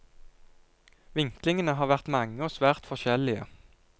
Vinklingene har vært mange og svært forskjellige.